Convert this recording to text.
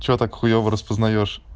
что так хуёво распознаешь